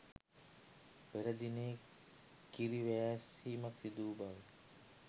පෙර දිනයේ කිරිවෑස්සීමක් සිදුවූ බව